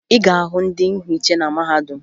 Ị ga-ahụ ndị nhiche na mahadum